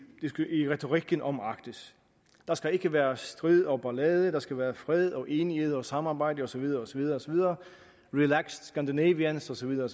retorikken om arktis der skal ikke være strid og ballade der skal være fred og enighed og samarbejde og så videre osv relaxed scandinavians og så videre